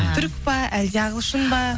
түрік па әлде ағылшын ба